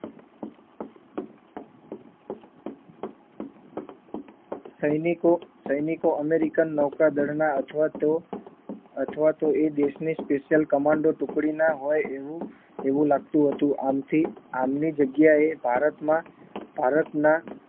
સૈનિકો સૈનિકો અમેરિકન નૌકાદળના અથવા તો અથવા તો એ દેશની special commando ટુકડીના હોય એવું એવું લાગતું હતું આમથી આમની જગ્યાએ ભારતમાં ભારતના